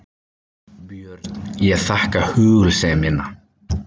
BJÖRN: Ég þakka hugulsemina.